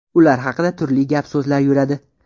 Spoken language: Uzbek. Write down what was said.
Ular haqida turli gap so‘zlar yuradi.